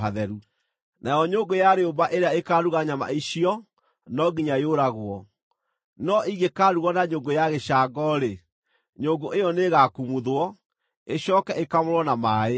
Nayo nyũngũ ya rĩũmba ĩrĩa ĩkaaruga nyama icio no nginya yũragwo; no ingĩkaarugwo na nyũngũ ya gĩcango-rĩ, nyũngũ ĩyo nĩĩgakumuthwo, ĩcooke ĩkamũrwo na maaĩ.